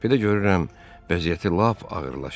Bir də görürəm, vəziyyəti lap ağırlaşıb.